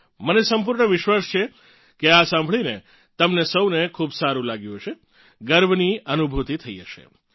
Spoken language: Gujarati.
મને સંપૂર્ણ વિશ્વાસ છે કે આ સાંભળીને તમને સૌને ખૂબ સારું લાગ્યું હશે ગર્વની અનુભૂતિ થઇ હશે